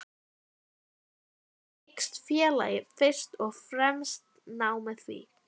Þessu tilgangi hyggst félagið fyrst og fremst ná með því